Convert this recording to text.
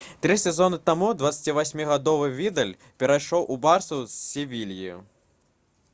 тры сезоны таму 28-гадовы відаль перайшоў у «барсу» з «севільі»